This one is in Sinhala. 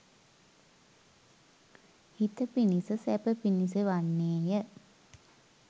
හිත පිණිස සැප පිණිස වන්නේය.